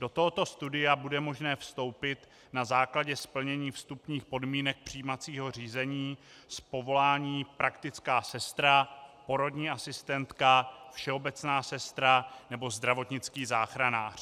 Do tohoto studia bude možné vstoupit na základě splnění vstupních podmínek přijímacího řízení z povolání praktická sestra, porodní asistentka, všeobecná sestra nebo zdravotnický záchranář.